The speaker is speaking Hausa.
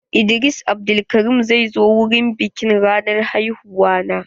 Idris Abdulkarim zai zo wurin biƙin ranar haihuwa na.